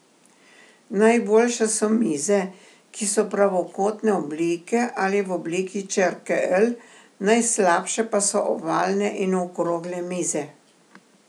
Najboljše so mize, ki so pravokotne oblike ali v obliki črke L, najslabše pa so ovalne in okrogle mize.